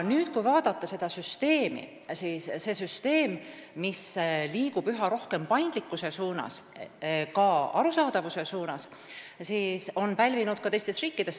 Kui vaadata meie süsteemi, siis selline süsteem, mis liigub üha rohkem paindlikkuse ja ka arusaadavuse poole, on pälvinud tähelepanu ka teistes riikides.